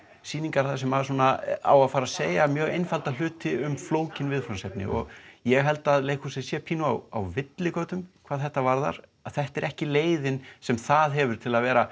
sýningar þar sem á að fara að segja mjög einfalda hluti um flókin viðfangsefni og ég held að leikhúsið sé pínu á villigötum hvað þetta varðar þetta er ekki leiðin sem það hefur til að vera